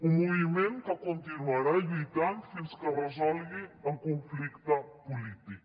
un moviment que continuarà lluitant fins que es resolgui el conflicte polític